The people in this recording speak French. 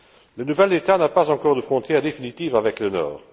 Le nouvel État n'a pas encore de frontière définitive avec le Nord.